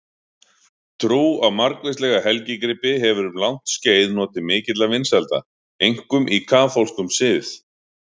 Trú á margvíslega helgigripi hefur um langt skeið notið mikilla vinsælda, einkum í kaþólskum sið.